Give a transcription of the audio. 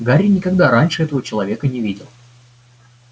гарри никогда раньше этого человека не видел